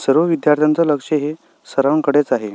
सर्व विद्यार्थ्यांचं लक्ष हे सरांकडेच आहे.